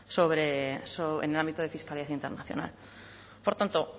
intercambia información sobre en el ámbito de por tanto